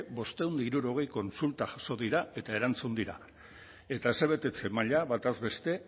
bostehun eta hirurogei kontsulta jaso dira eta erantzun dira eta asebetetze maila batazbeste